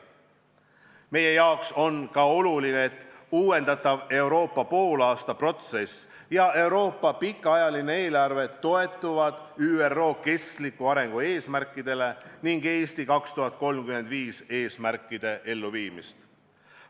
Meile on ka oluline, et uuendatav Euroopa poolaastaprotsess ja Euroopa pikaajaline eelarve toetavad ÜRO kestliku arengu eesmärkide ning "Eesti 2035" eesmärkide elluviimist.